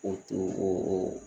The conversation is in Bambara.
O t'o o